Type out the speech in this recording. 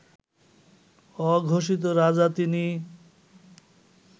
অঘোষিত রাজা তিনি